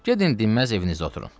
Gedin dinməz evinizə oturun.